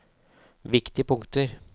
viktige punkter